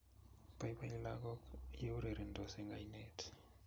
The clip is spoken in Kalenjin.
Boiboi lagok ya urerensot eng' oinet